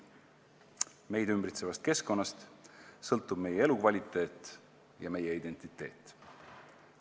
Meid ümbritsevast keskkonnast sõltub meie elukvaliteet ja meie identiteet.